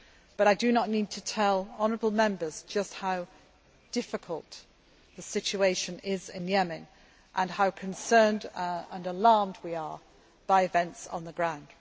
support. But I do not need to tell honourable Members just how difficult the situation is in Yemen and how concerned and alarmed we are by events on the